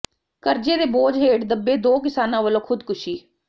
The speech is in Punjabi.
ਕਰਜ਼ੇ ਦੇ ਬੋਝ ਹੇਠ ਦਬੇ ਦੋ ਕਿਸਾਨਾਂ ਵਲੋਂ ਖੁਦਕੁਸ਼ੀ